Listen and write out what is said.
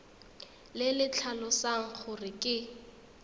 le le tlhalosang gore ke